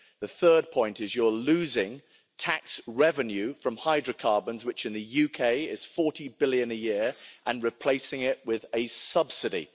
The third point is that you're losing tax revenue from hydrocarbons, which in the UK is GBP 40 billion a year, and replacing it with a subsidy.